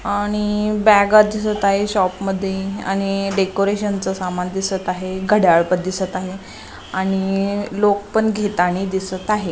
आणि बॅगा दिसत आहेत शॉपमध्ये आणि डेकोरेशनच सामान दिसत आहे आणि घड्याळ दिसत आहे आणि लोक पण घेताना दिसत आहेत.